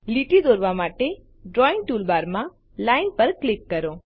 લીટી દોરવા માટે ડ્રોઇંગ ટૂલબારમાં લાઇન પર ક્લિક કરો